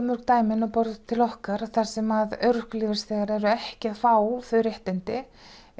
mörg dæmi inn á borð til okkar þar sem örorkulífeyrisþegar eru ekki að fá þau réttindi